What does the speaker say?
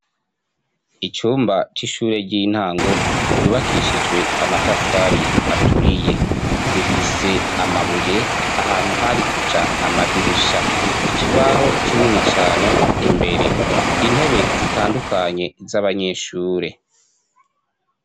Icumba c'ishuri ry'intango ryubakishijwe amatafari aturiye, rifise amabuye ahantu hari kuja amadirisha, ikibaho kinini cane imbere, intebe zitadukanye z'abanyeshure.